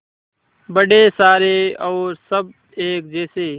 बड़े सारे और सब एक जैसे